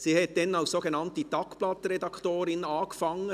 Sie hat damals als sogenannte «Tagblatt-Redaktorin» angefangen.